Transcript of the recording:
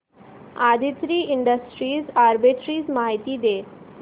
Aditri industries arbitrage माहिती दे